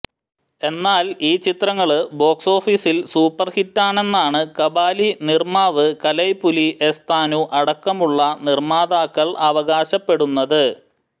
എന്നാൽ ഈ ചിത്രങ്ങള് ബോക്സ്ഓഫീസിൽ സൂപ്പർഹിറ്റാണെന്നാണ് കബാലി നിര്മ്മാവ് കലൈപുലി എസ് താനു അടക്കമുള്ള നിർമാതാക്കൾ അവകാശപ്പെടുന്നത്